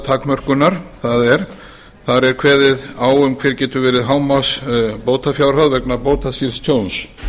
formi ábyrgðartakmörkunar það er þar er kveðið á um hver getur verið hámarksbótafjárhæð vegna bótaskylds tjóns